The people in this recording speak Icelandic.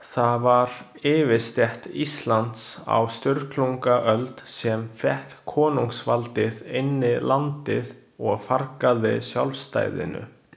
Það var yfirstétt Íslands á Sturlungaöld, sem fékk konungsvaldið inn í landið og fargaði sjálfstæðinu.